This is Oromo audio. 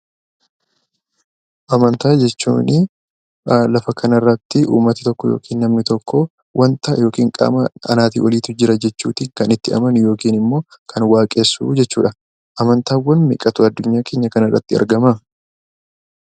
Amantaa jechuun lafa kanarratti uummati tokko yookiin namni tokko waanta yookiin qaama anaatii oliiti jira jechuutiin kan itti amanu yookiin immoo kan waaqessu jechuudha. Amantaawwan meeqatu addunyaa keenya kanarratti argamaa?